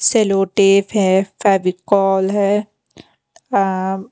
सेलो tape है फेविकोल है अअम --